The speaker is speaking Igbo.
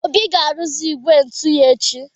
Obi ga-arụzi igwe njụ ya echi.